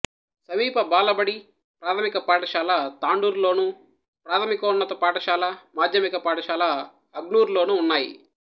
సమీప బాలబడి ప్రాథమిక పాఠశాల తాండూరులోను ప్రాథమికోన్నత పాఠశాల మాధ్యమిక పాఠశాల అగ్నూర్లోనూ ఉన్నాయి